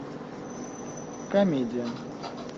комедия